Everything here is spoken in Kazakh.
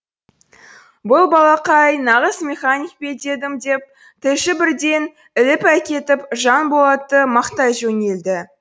бұл балақай нағыз механик пе дедім деп тілші бірден іліп әкетіп жанболатты мақтай жөнелді